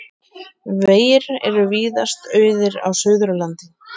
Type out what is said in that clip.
Vegir eru víðast auðir á Suðurlandi